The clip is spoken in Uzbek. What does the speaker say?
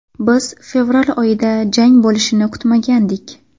Biz fevral oyida jang bo‘lishini kutmagandik.